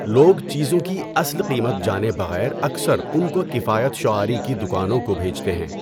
لوگ چیزوں کی اصل قیمت جانے بغیر اکثر ان کو کفایت شعاری کی دکانوں کو بھیجتے ہیں۔